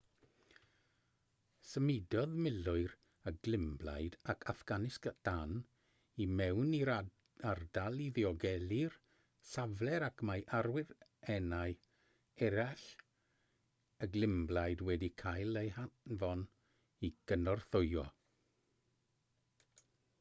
symudodd milwyr y glymblaid ac affganistan i mewn i'r ardal i ddiogelu'r safle ac mae awyrennau eraill y glymblaid wedi cael eu hanfon i gynorthwyo